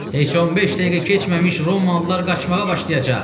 Heç 15 dəqiqə keçməmiş Romalılar qaçmağa başlayacaq.